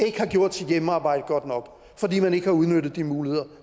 ikke har gjort sit hjemmearbejde godt nok fordi man ikke har udnyttet de muligheder